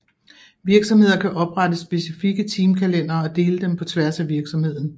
Virksomheder kan oprette specifikke teamkalendere og dele dem på tværs af virksomheden